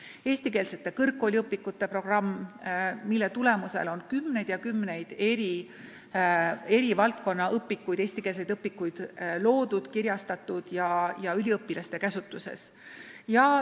On eestikeelsete kõrgkooliõpikute programm, mille tulemusel on koostatud ja kirjastatud kümneid eri valdkonna õpikuid, mis on üliõpilaste käsutuses.